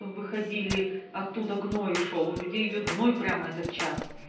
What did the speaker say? выходили оттуда гной шёл у людей идёт гной прямо этот час